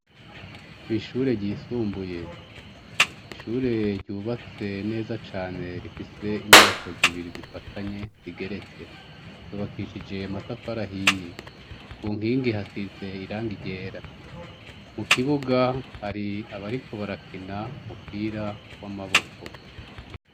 Kwishure ryisumbuye. Ishure ryubatse neza cane rifise inyubako zibiri zifatanye zigeretse. Zubakishije amatafari ahiye, kunkingi hasize irangi ryera, mukibuga hari abariko barakina umupira wamaboko.